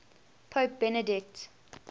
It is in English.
pope benedict